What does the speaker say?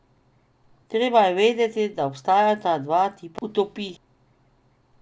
Treba je vedeti, da obstajata dva tipa utopij.